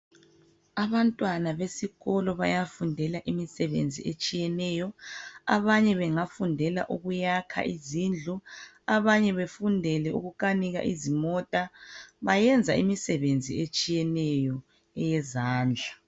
Abantwana besikolo bayafundela imisebenzi etshiyeneyo. Abanye bengafundela ukuyakha izindlu, abanye befundele ukukanika izimota bayenza imisebenzi etshiyeneyo eyezandla.